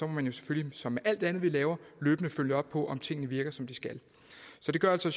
man selvfølgelig som med alt andet vi laver løbende følge op på om tingene virker som de skal så det gør altså